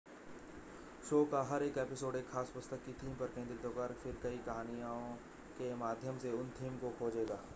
show का हर एक एपिसोड एक ख़ास पुस्तक की थीम पर केंद्रित होगा और फिर कई कहानियों के माध्यम से उस थीम को खोजेगा